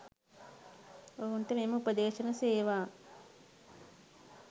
ඔවුන්ට මෙම උපෙද්ශන සේවා